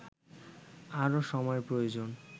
আরও সময়ের প্রয়োজন